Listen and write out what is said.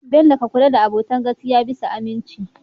bello ka kulla da abota ta gaskiya bisa aminci